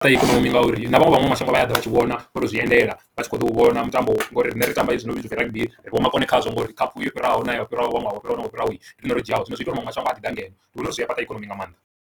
Kha ikonomi ngauri na vhaṅwe maṅwe mashango vha ya ḓa vha tshi vhona ro to zwi endela vhatshi kho ḓo u vhona mutambo ngauri riṋe ri tamba hezwi no vhidzwa u pfhi rugby ri vho makone khazwo ngauri khaphu yo fhiraho na ya ṅwaha wo fhiraho ndi rine ro dzhiaho, zwino zwi ita uri maṅwe mashango a ḓi ḓa ngeno ndi vhona uri zwi a fhaṱa ikonomi nga maanḓa.